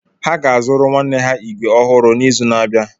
Ha ga-azụrụ nwanne ha ígwè ọhụrụ n’izu na-abịa.